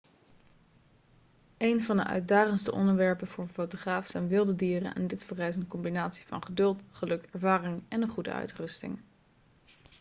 een van de uitdagendste onderwerpen voor een fotograaf zijn wilde dieren en dit vereist een combinatie van geduld geluk ervaring en een goede uitrusting